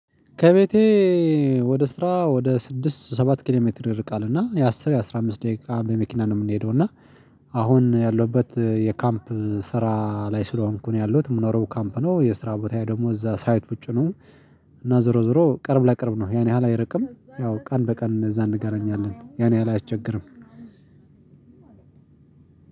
ከቤቴ ወደ ስራ ወደ ስድስት ሰባት ኪሎ ሜትር ይርቃል እና የአስር የአስራ አምስት ደቂቃ በመኪና ነው የምንሄደው። እና አሁን ያለሁበት የካምፕ ስራ ላይ ስለሆንኩ ነው ያለሁት የምኖረው ካምፕ ነው የስራ ቦታ ደግሞ እዛ ሳይት ውጪ ነው። እና ዞሮ ዞሮ ቅርብ ለቅርብ ነው ያን ያህል አይርቅም። ያው ቀን በቀን እዛ እንገናኛለን ያን ያህል አያ ስቸግርም።